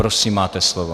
Prosím, máte slovo.